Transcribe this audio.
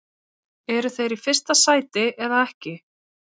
Eru þeir í fyrsta sæti eða ekki?